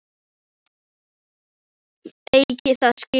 Eigi það skilið að hann rífi í hárið á henni.